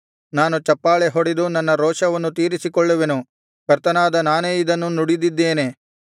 ನಾನು ಚಪ್ಪಾಳೆ ಹೊಡೆದು ನನ್ನ ರೋಷವನ್ನು ತೀರಿಸಿಕೊಳ್ಳುವೆನು ಕರ್ತನಾದ ನಾನೇ ಇದನ್ನು ನುಡಿದಿದ್ದೇನೆ